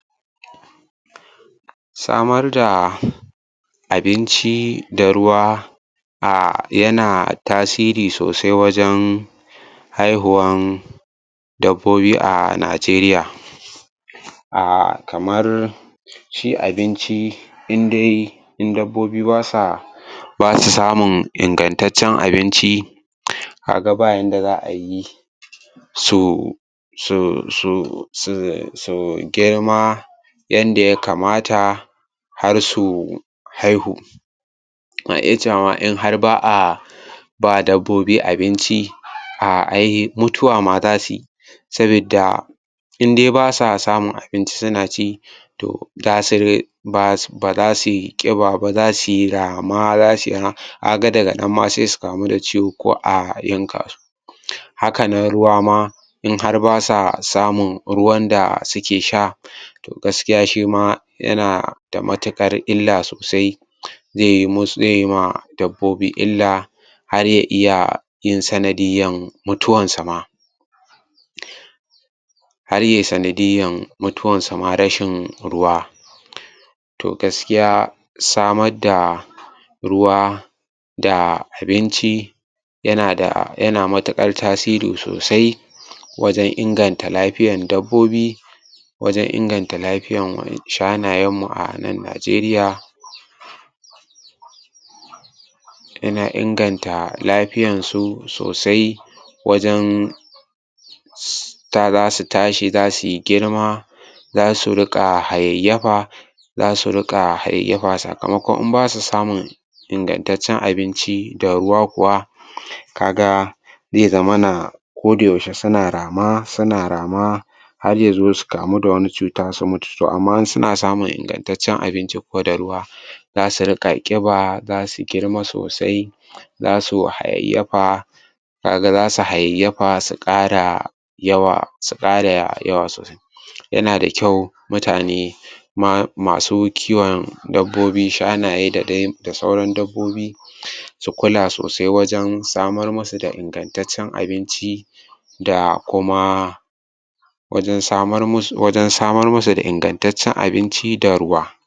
Samar da abinci da ruwa a yana tasiri sosai wajen haihuwan dabbobi a Najeriya. A kamar shi abinci in dai in dabbobi ba sa ba su samun ingantaccen abinci ka ga bayanda za a yi su su su su su girma yanda ya kamata har su haihu. in har ba a ma ba dabbobi abinci mutuwa ma za su yi sabidda in dai ba sa amun abinci suna ci, to za su ba za sui ƙiba ba, za sui rama za sui kaga daga nan ma za su kamu da ciwo ko a yanka su. haka nan ruwa in har ba sa samun ruwan da suke sha, to gaskiya shi ma yana da matuƙar illa sosai zai yi masu zai yi ma dabbobi illa har ya iya yin sanadiyyar mutuwansu ma. Har yai sanadiyyar mutuwansu ma rashin ruwa. To gaskiya samar da ruwa da abinci yana da yana matuƙar tasiri sosai wajen inganta lafyar dabbobi wajen inganta lafiyar shanayenmu a nan Najeriya. Wajen inganta lafiyansu sosai wajen za su tashi za sui girma, za su riƙa hayayyafa za su riƙa hayayyafa sakamakon in ba su samun ingantaccen abinci da ruwa kuwa ka ga zai zama kodayaushe suna rama suna rama har ya zo su kamu da wani cuta su mutu. To amma in suna samun ingantaccen abinci kuwa da ruwa. za su riƙa ƙiba za su girma sosai za sui hayayyafa ka ga za su hayayyafa su ƙara yawa su ƙara yawa sosai Yana da kyau mutane masu kiwon dabbobi shanaye da dai sauran dabbobi su kula sosai wajen samar masu da ingantaccen abinci da kuma wajen samar masu da ingantaccen abinci da ruwa.